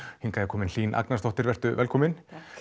hingað er komin Hlín Agnarsdóttir velkomin